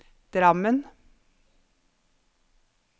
Drammen